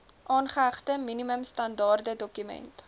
aangehegte minimum standaardedokument